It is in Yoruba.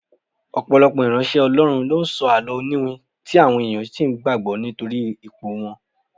Ọ̀pọ̀lọpọ̀ ìránṣẹ́ Ọlọ́run ló ń sọ àló oniwin tí àwọn ènìyàn sì ń gbàgbó nítorí ipò wọn.